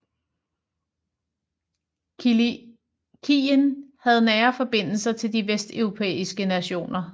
Kilikien havde nære forbindelser til de vesteuropæiske nationer